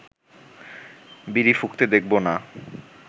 বিড়ি ফুঁকতে দেখব না